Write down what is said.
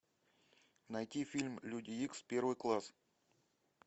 найти фильм люди икс первый класс